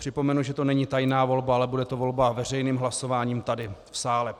Připomenu, že to není tajná volba, ale bude to volba veřejným hlasováním tady v sále.